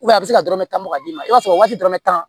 a bɛ se ka dɔrɔn ka d'i ma i b'a sɔrɔ waati dɔrɔn bɛ tan